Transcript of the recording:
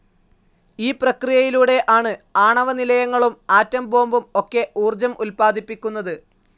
ഈ പ്രക്രിയയിലൂടെ ആണ് ആണവനിലയങ്ങളും ആട്ടോം ബോംബും ഒക്കെ ഊർജ്ജം ഉല്‌പാദിപ്പിക്കുന്നത്.